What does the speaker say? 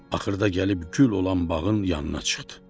Axırda gəlib gül olan bağın yanına çıxdı.